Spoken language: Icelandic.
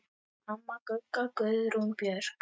Amma Gugga, Guðrún Björg.